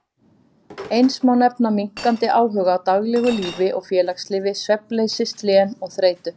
Eins má nefna minnkandi áhuga á daglegu lífi og félagslífi, svefnleysi, slen og þreytu.